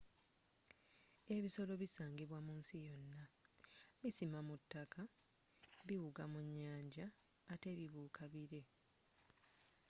ebisolo bisangibwa mu nsi yonna bisima mu taka biwuga mu nyanja ate bibuuka bire